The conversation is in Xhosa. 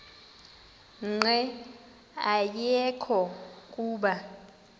nqe ayekho kuba